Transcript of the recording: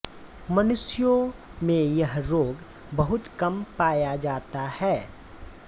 मनुष्यों में यह रोग बहुत कम पाया जाता है